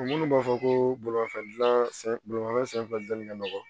Minnu b'a fɔ ko bolimanfɛn dilan bolifɛn dilanni ka nɔgɔn